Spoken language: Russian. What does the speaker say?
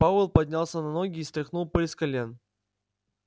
пауэлл поднялся на ноги и стряхнул пыль с колен